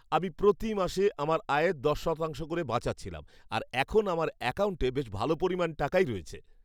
আমি প্রতি মাসে আমার আয়ের দশ শতাংশ করে বাঁচাচ্ছিলাম আর এখন আমার অ্যাকাউন্টে বেশ ভাল পরিমাণ টাকাই রয়েছে।